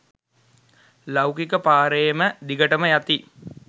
ලෞකික පාරේම දිගටම යති